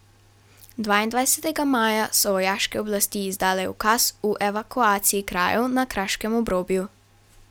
Dvaindvajsetega maja so vojaške oblasti izdale ukaz o evakuaciji krajev na kraškem obrobju.